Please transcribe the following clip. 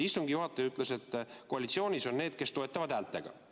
Istungi juhataja ütles, et koalitsioonis on need, kes toetavad häältega.